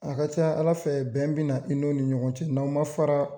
A ka ca Ala fɛ bɛn bina i n'o ni ɲɔgɔn cɛ n'aw ma fara